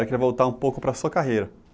Queria voltar um pouco para sua carreira.